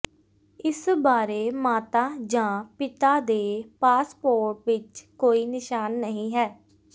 ਇਸ ਬਾਰੇ ਮਾਤਾ ਜਾਂ ਪਿਤਾ ਦੇ ਪਾਸਪੋਰਟ ਵਿਚ ਕੋਈ ਨਿਸ਼ਾਨ ਨਹੀਂ ਹੈ